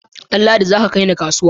Danladi, za ka kai ni kasuwa!